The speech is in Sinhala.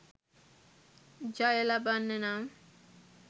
ජය ලබන්න නම්